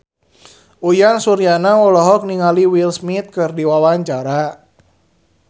Uyan Suryana olohok ningali Will Smith keur diwawancara